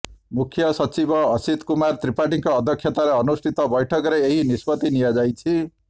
ମୁଖ୍ୟସଚିବ ଅସିତ୍ କୁମାର ତ୍ରିପାଠୀଙ୍କ ଅଧ୍ୟକ୍ଷତାରେ ଅନୁଷ୍ଠିତ ବୈଠକରେ ଏହି ନିଷ୍ପତ୍ତି ନିଆଯାଇଛି